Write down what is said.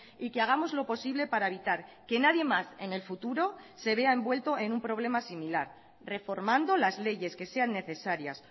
y que hagamos lo posible para evitar que nadie más en el futuro se vea envuelto en un problema similar reformando las leyes que sean necesarias